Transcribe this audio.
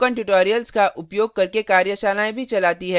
spoken tutorials का उपयोग करके कार्यशालाएँ भी चलाती है